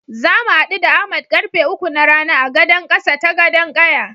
Zamu haɗu da Ahmad karfe uku na rana a gadan ƙasa ta Gadon ƙaya.